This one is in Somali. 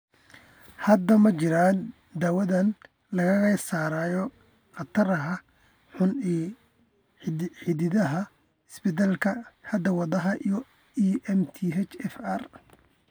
Hadda ma jiraan daawayn lagaga saarayo khataraha xun ee la xidhiidha isbeddellada hidda-wadaha ee MTHFR.